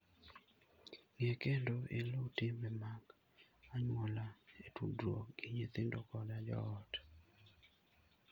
Ng'e kendo iluw timbe mag anyuola e tudruok gi nyithindo koda joot.